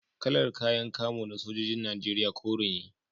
Kalar kayan kamo na sojojin Najeriya kore ne